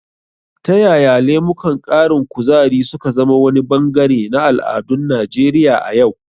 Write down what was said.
Ta yaya lemukan ƙarin kuzari su ka zama wani bangare na al'adun Najeriya a yau?